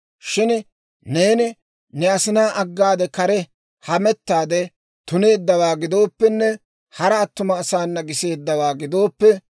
Shin neeni ne asinaa aggaade kare hamettaade tuneeddawaa gidooppenne, hara attuma asaana giseeddawaa gidooppe,